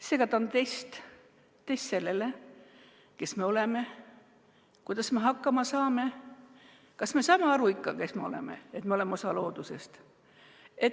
Seega ta on test – test, kes me oleme, kuidas me hakkama saame, kas me saame ikka aru, kes me oleme, et me oleme osa loodusest.